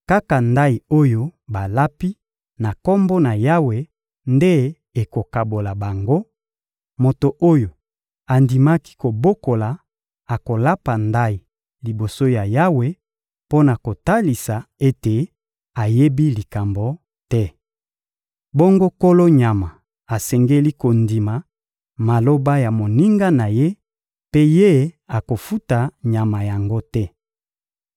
kaka ndayi oyo balapi na Kombo na Yawe nde ekokabola bango: Moto oyo andimaki kobokola akolapa ndayi liboso ya Yawe mpo na kotalisa ete ayebi likambo te. Bongo nkolo nyama asengeli kondima maloba ya moninga na ye mpe ye akofuta nyama yango te.